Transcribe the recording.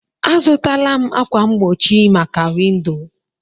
Azụtaala m ákwà mgbochi maka windo